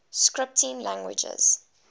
scripting languages